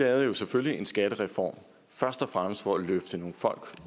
lavede jo selvfølgelig en skattereform først og fremmest for at løfte nogle folk